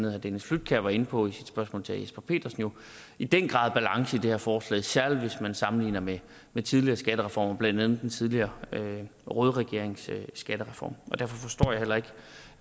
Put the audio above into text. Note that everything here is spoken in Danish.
herre dennis flydtkjær var inde på i sit spørgsmål til herre jesper petersen i den grad balance i det her forslag særlig hvis man sammenligner med med tidligere skattereformer blandt andet den tidligere røde regerings skattereform derfor forstår jeg heller ikke